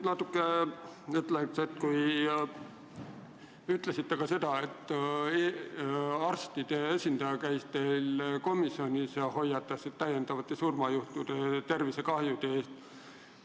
Aga te ütlesite ka seda, et arstide esindaja käis teil komisjonis ja hoiatas täiendavate surmajuhtude ja tervisekahjude eest.